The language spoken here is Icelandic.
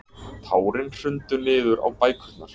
Tárin hrundu niður á bækurnar.